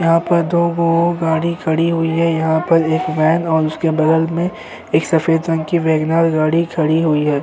यहाँ पर दो वो गाड़ी खड़ी हुई है यहाँ पर एक वैन और उसके बगल में एक सफेद रंग की वेगन आर गाड़ी खड़ी हुई है।